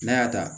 N'a y'a ta